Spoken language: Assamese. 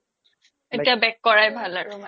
এতিয়া back কৰাই ভাল আৰু মানে